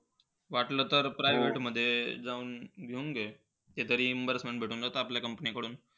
वाटलं तर private मध्ये जाऊन घेऊन घे ते तरी reimbursement घे ते तरी आपल्या company कडून.